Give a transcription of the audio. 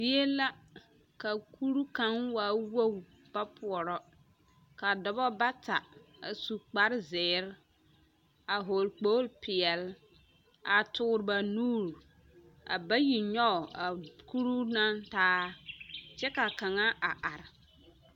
Bie la ka kuruu kaŋ waa wogi ba poɔrɔ ka dɔbɔ bata a su kpare zeere a hɔɔle kpogili peɛle a toore ba nuuri a bayi nyɔge a kuruu naŋ taa kyɛ ka a kaŋa a are.